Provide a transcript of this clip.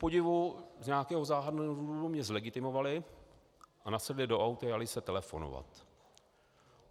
Kupodivu z nějakého záhadného důvodu mě zlegitimovali a nasedli do auta a jali se telefonovat.